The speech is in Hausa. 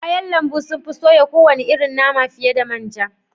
Kayan lambu sun fi soya kowane irin nama fiye da man ja